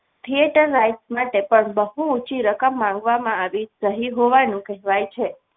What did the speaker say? theatre right માટે પણ બહુ ઊંચી રકમ માંગવામાં આવી છે કહ્યું હોવાનું કહેવાય છે.